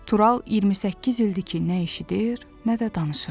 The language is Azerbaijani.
Tural 28 ildir ki, nə eşidir, nə də danışırdı.